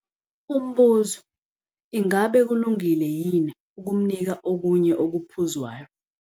Umbuzo. Ingabe kulungile yini ukumnika okunye okuphuzwayo?